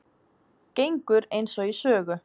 Gengur eins og í sögu